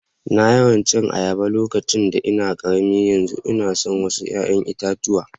Na yawa cin ayaba a lokacin da nake karemi, yanzu una so wassu yayan itatuwa.